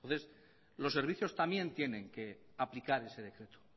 entonces los servicios también tienen que aplicar ese servicio